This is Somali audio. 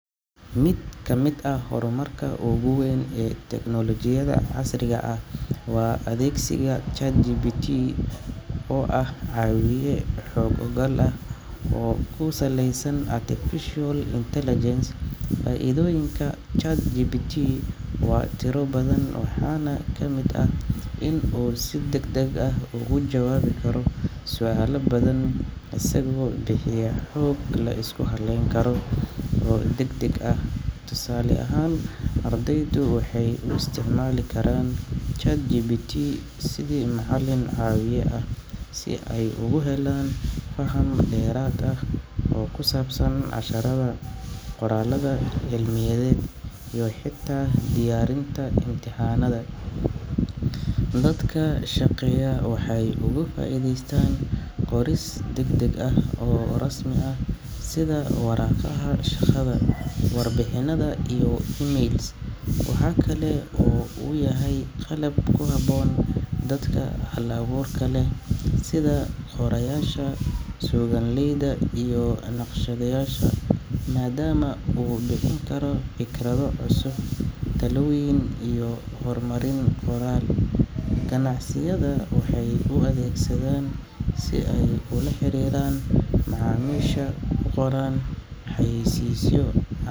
Mid ka mid ah horumarka ugu weyn ee teknolojiyada casriga ah waa adeegsiga chatgpt oo ah caawiye xooggan ah oo ku saleysan artificial intelligence faa-iidooyinka chatgpt waa tiro badan waxaana ka mid ah in uu si deg deg ah ugu jawaabi karo su-aalo badan isagoo bixiyaa xoog la isku halleyn karo oo deg deg ah tusaale ahaan ardaydu waxay u isticmaali karaan chatgpt sidii macalin caawiye ah si ay ugu helaan faham dheeraad ah oo ku saabsan casharada qoraalada cilmiyaded iyo xitaa diyaarinta imtixaanada dadka shaqeeya waxay uga faa-iideystaan qoris deg deg ah oo rasmi ah sida waraqaha shaqada warbixinada iyo emails waxakale oo uu yahay qalab ku haboon dadka hal-abuurka leh sida qorayaasha sugan leyda iyo naqshadeyaasha maadaama uu bixin karo fikrado cusub talooyin iyo horumarin qoraal ganacsiyada waxay u adeegsadeen si aay ula xiriiraan macaamisha qoraan xayeysiiso.